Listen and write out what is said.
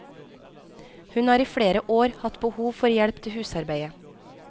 Hun har i flere år hatt behov for hjelp til husarbeidet.